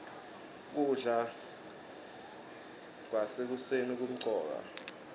kudla kwasekuseni kumcoka